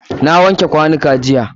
Na wanke kwanuka jiya.